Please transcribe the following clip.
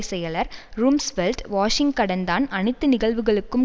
செயலர் ரும்ஸ்வெல்ட் வாஷிங்கடன்தான் அனைத்து நிகழ்வுகளுக்கும்